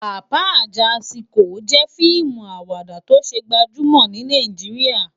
Papa Ajásikó jè fiimú àwádá tó sé gbàjúmò ni Nàijiriá